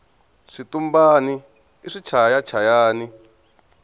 switumbani i swichaya chayani